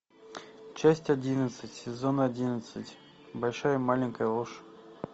часть одиннадцать сезон одиннадцать большая маленькая ложь